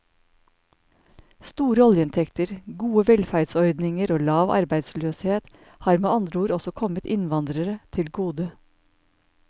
Store oljeinntekter, gode velferdsordninger og lav arbeidsløshet har med andre ord også kommet innvandrere til gode.